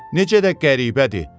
Necə də qəribədir.